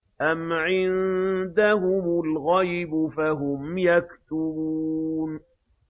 أَمْ عِندَهُمُ الْغَيْبُ فَهُمْ يَكْتُبُونَ